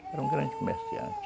(choro de criança) Foi um grande comerciante.